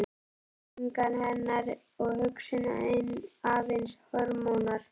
Tilfinningar hennar og hugsun aðeins hormónar?